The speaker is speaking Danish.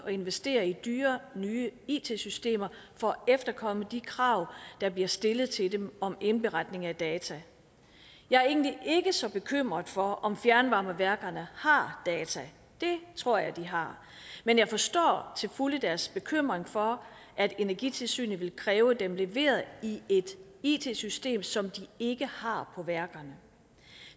investere i dyre nye it systemer for at efterkomme de krav der bliver stillet til dem om indberetning af data jeg er egentlig ikke så bekymret for om fjernvarmeværkerne har data det tror jeg de har men jeg forstår til fulde deres bekymring for at energitilsynet vil kræve dem leveret i et it system som de ikke har på værkerne